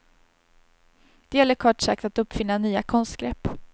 Det gäller kort sagt att uppfinna nya konstgrepp.